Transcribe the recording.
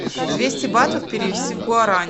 двести батов перевести в гуарани